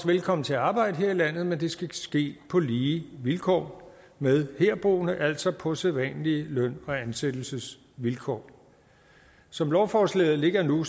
velkomne til at arbejde her i landet men det skal ske på lige vilkår med herboende altså på sædvanlige løn og ansættelsesvilkår som lovforslaget ligger nu